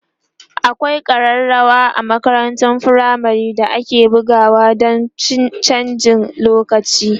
akwai karrawa a makarantun firamare da ake bugawa Dan chanjin lokaci